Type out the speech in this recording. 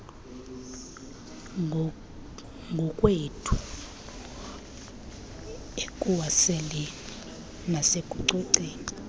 ngokwethu ekuwaseleni nasekucoceni